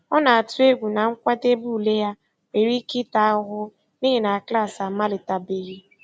Ọ na-atụ egwu na nkwadebe ule ya nwere ike ịta ahụhụ n'ihi na klaasị amalitebeghị.